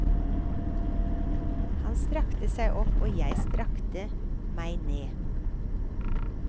Han strakte seg opp, og jeg strakte meg ned.